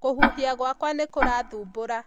kûhuhia gwaka nîkurathumbûra